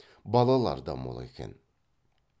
балалар да мол екен